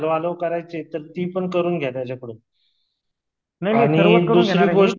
करायची ती पण करून घ्या त्याच्या कडून आणि दुसरी गोष्ट